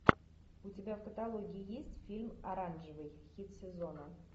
у тебя в каталоге есть фильм оранжевый хит сезона